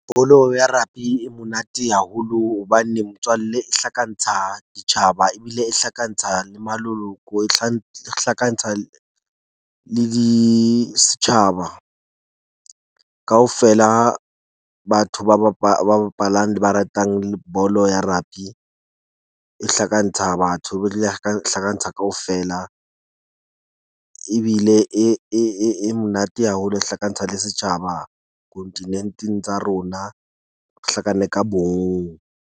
Bolo ya rugby e monate haholo hobane motswalle e hlakantsha ditjhaba ebile e hlakantsha le maloloko, e hlakantsha le di setjhaba. Kaofela batho ba bapala, ba bapalang le ba ratang bolo ya rugby. E hlakantsha batho ba dule hlakantsha kaofela ebile e monate haholo, e hlakantsha le setjhaba kontinenteng tsa rona. .